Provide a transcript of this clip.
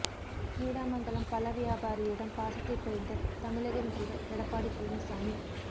நீடாமங்கலம் பழ வியாபாரியிடம் பாசத்தை பொழிந்த தமிழக முதல்வர் எடப்பாடி பழனிசாமி